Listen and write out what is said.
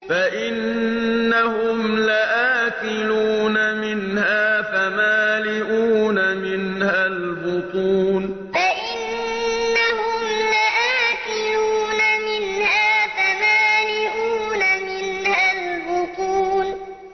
فَإِنَّهُمْ لَآكِلُونَ مِنْهَا فَمَالِئُونَ مِنْهَا الْبُطُونَ فَإِنَّهُمْ لَآكِلُونَ مِنْهَا فَمَالِئُونَ مِنْهَا الْبُطُونَ